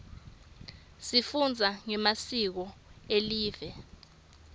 sifunza ngemasiko elive